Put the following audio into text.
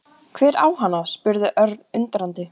Hver á hana? spurði Örn undrandi.